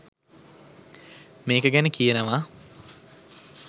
මේක ගැන කියනවා